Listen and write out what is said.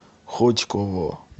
хотьково